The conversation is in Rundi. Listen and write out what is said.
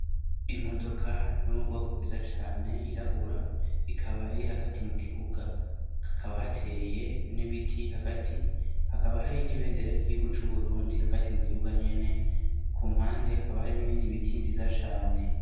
Imodoka yo mu bwoko bwiza cane yirabura ikaba iri hagati mu kibuga, hakaba hateye n'ibiti hagati, hakaba hari n'ibendera ry'igihugu c'u Burundi hagati mu kibuga nyene, ku mpande hakaba hari n'ibindi biti vyiza cane.